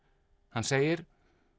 hann segir